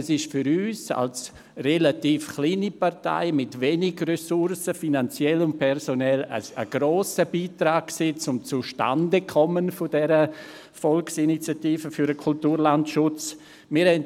Wir als relativ kleine Partei mit wenigen finanziellen und personellen Ressourcen haben einen grossen Beitrag zum Zustandekommen der Initiative für den Kulturlandschutz geleistet.